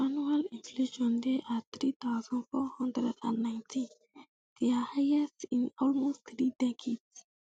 annual inflation dey at um three thousand, four hundred and nineteen um dia highest in almost three decades